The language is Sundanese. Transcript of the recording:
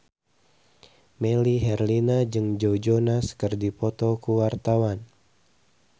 Melly Herlina jeung Joe Jonas keur dipoto ku wartawan